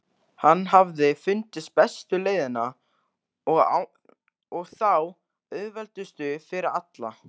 Hann hafði fundið bestu leiðina og þá auðveldustu fyrir alla.